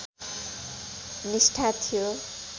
निष्ठा थियो